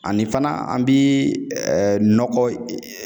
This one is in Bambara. Ani fana an bi ɛɛ nɔgɔ